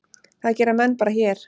Það gera menn bara hér.